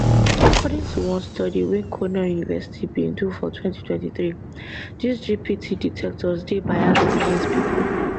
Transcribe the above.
according to one study weycornell university bin do for 2023dis gpt detectors dey biased against pipo